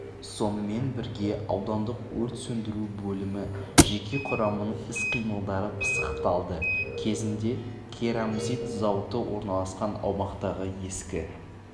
сонымен бірге аудандық өрт сөндіру бөлімі жеке құрамының іс-қимылдары пысықталды кезінде керамзит зауыты орналасқан аумақтағы ескі